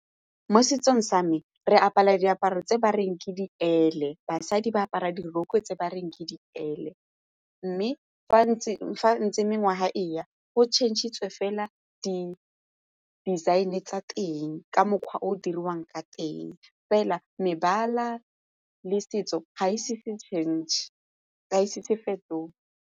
Mo setsong sa me re apara diaparo tse ba reng ke diele basadi ba apara diroko tse ba reng ke diele mme fa ntseng fa ntse mengwaga e ya go tšhentšhitswe fela di-design-e tsa teng ka mokgwa o o dirwang ka teng fela mebala le setso ga e so fetoge.